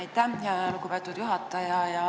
Aitäh, lugupeetud juhataja!